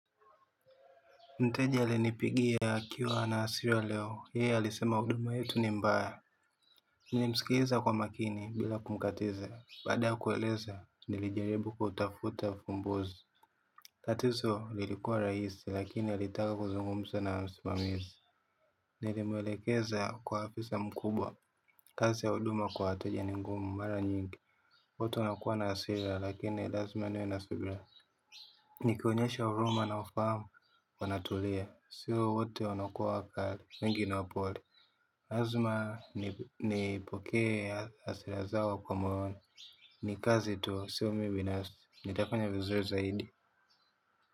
Mteja alinipigia akiwa na hasira leo, yeye alisema huduma yetu ni mbaya. Nilimsikiza kwa makini bila kumkatiza, baada ya kueleza nilijaribu kutafuta ufumbuzi. Tatizo lilikuwa rahisi lakini alitaka kuzungumza na msimamizi. Nilim elekeza kwa afisa mkubwa. Kazi ya huduma kwa wateja ni ngumu mara nyingi watu wanakuwa na hasira lakini lazmi niwe na subira. Nikiwaonyesha huruma na ufahamu wanatulia. Sio wote wanakuwa wakali, wengi ni wapole lazima nipokee hasira zao kwa maono. Ni kazi tu, sio mimi binafsi. Nitafanya vizuri zaidi.